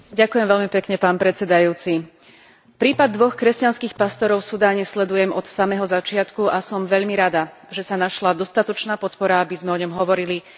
Prípad dvoch kresťanských pastorov v Sudáne sledujem od samého začiatku a som veľmi rada, že sa našla dostatočná podpora, aby sme o ňom hovorili aj tu na pôde Európskeho parlamentu.